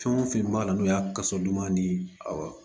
Fɛn o fɛn b'a la n'o y'a kaso duman ni awɔ